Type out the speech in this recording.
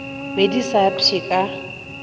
be di sa pšhe ka